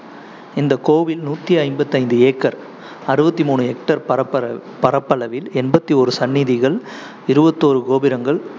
இந்த கோவில் நூத்தி ஐம்பத்தி ஐந்து acre அறுவத்தி மூணு hectare பரப்ப~ பரப்பளவில் எண்பத்தி ஓரு சன்னதிகள், இருவத்தி ஓரு கோபுரங்கள்,